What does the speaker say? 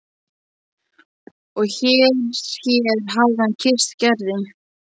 Og hér hér hafði hann kysst Gerði.